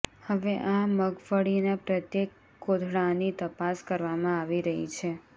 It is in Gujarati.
હવે આ મગફળીના પ્રત્યેક કોથળાની તપાસ કરવામાં આવી રહી છે